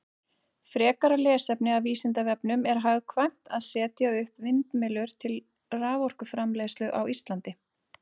Frekara lesefni af Vísindavefnum: Er hagkvæmt að setja upp vindmyllur til raforkuframleiðslu á Íslandi?